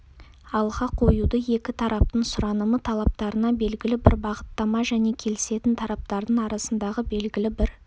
алға қоюды екі тараптың сұранымы талаптарына белгілі бір бағыттама және келісетін тараптардың арасындағы белгілі бір